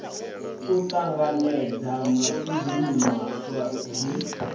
u ṱanganedza matshudeni maswa ḓi